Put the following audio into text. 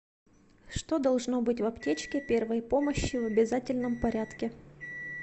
что должно быть в аптечке первой помощи в обязательном порядке